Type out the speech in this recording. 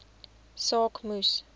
saak moes